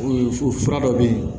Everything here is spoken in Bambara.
O fura dɔ bɛ yen